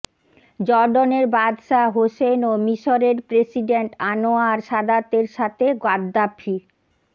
জর্ডনের বাদশা হোসেন ও মিশরের প্রেসিডেন্ট আনোয়ার সাদাতের সাথে গাদ্দাফি